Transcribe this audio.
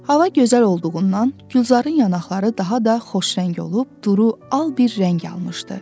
Hava gözəl olduğundan Gülzarın yanaqları daha da xoşrəng olub duru al bir rəng almışdı.